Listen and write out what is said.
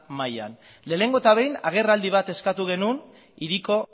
mahaian lehenengo eta behin agerraldi bat eskatu genuen hiriko